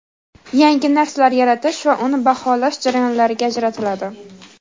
yangi narsalar yaratish va uni baholash jarayonlariga ajratiladi.